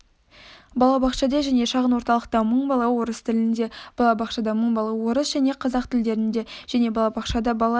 балабақшада және шағын орталықта мың бала орыс тілінде балабақшада мың бала орыс және қазақ тілдерінде және балабақшада бала